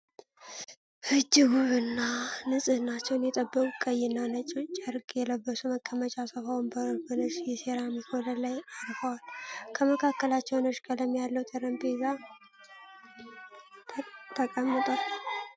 እጅግ ውብ እና ንፅህናቸውን የጠበቁ ቀይ እና ነጭ ጨርቅ የለበሱ መቀመጫ ሶፋ ወንበሮች በነጭ የሴራሚክ ወለል ላይ አርፈዋል። ከመካከላቸው ነጭ ቀለም ያለው ጠረጴዛ ተቀምጧል።